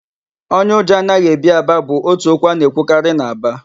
Onye ụjọ anaghị ebi Aba' bụ ótù okwu a na-ekwukarị n'Aba.